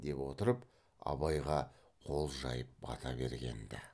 деп отырып абайға қол жайып бата берген ді